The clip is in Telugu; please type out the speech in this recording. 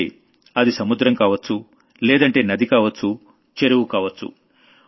అయితే అది సముద్రం కావొచ్చు లేదంటే నదికావొచ్చు చెరువు కావొచ్చు